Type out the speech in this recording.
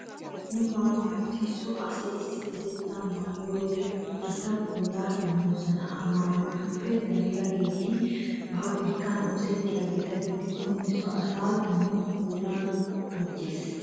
Wogaa maayoti so asay issippetettan maayiyo wode gita puulaa immoosona. Ha maayotuppe dariyageeti paabirkkan oosettiyageeta gidikkonne so asaassi dumma puulaa gujjees.